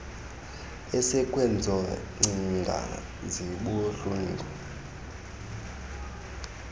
esekwezo ngcinga zibuhlungu